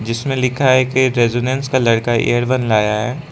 इसमें लिखा है कि एक रेजिडेंस का लड़का एअर वन लाया है।